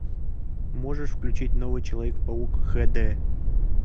можешь включить новый человек паук х д